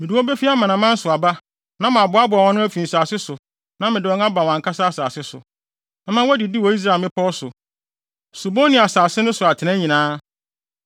Mede wɔn befi amanaman so aba na maboaboa wɔn ano afi nsase so na mede wɔn aba wɔn ankasa asase so. Mɛma wɔadidi wɔ Israel mmepɔw so, subon ne asase no so atenae nyinaa.